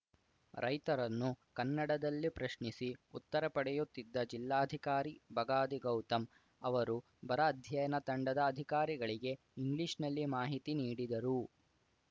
ರೈತರನ್ನು ಕನ್ನಡದಲ್ಲಿ ಪ್ರಶ್ನಿಸಿ ಉತ್ತರ ಪಡೆಯುತ್ತಿದ್ದ ಜಿಲ್ಲಾಧಿಕಾರಿ ಬಗಾದಿ ಗೌತಮ್‌ ಅವರು ಬರ ಅಧ್ಯಯನ ತಂಡದ ಅಧಿಕಾರಿಗಳಿಗೆ ಇಂಗ್ಲಿಷ್‌ನಲ್ಲಿ ಮಾಹಿತಿ ನೀಡಿದರು